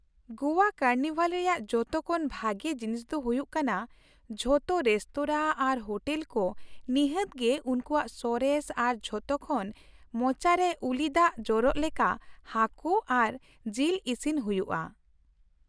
ᱜᱚᱣᱟ carnival ᱨᱮᱭᱟᱜ ᱡᱚᱛᱚ ᱠᱷᱚᱱ ᱵᱷᱟᱜᱮ ᱡᱤᱱᱤᱥ ᱫᱚ ᱦᱩᱭᱩᱜ ᱠᱟᱱᱟ ᱡᱚᱛᱚ ᱨᱮᱥᱛᱚᱨᱟ ᱟᱨ ᱦᱳᱴᱮᱞ ᱠᱚ ᱱᱤᱷᱟᱹᱛ ᱜᱮ ᱩᱱᱠᱩᱣᱟᱜ ᱥᱚᱨᱮᱥ ᱟᱨ ᱡᱚᱛᱚ ᱠᱷᱚᱱ ᱢᱚᱪᱟᱨᱮ ᱩᱞᱤ ᱫᱟᱜ ᱡᱚᱨᱚᱜ ᱞᱮᱠᱟ ᱦᱟᱹᱠᱩ ᱟᱨ ᱡᱤᱞ ᱤᱥᱤᱱ ᱦᱩᱭᱩᱜᱼᱟ ᱾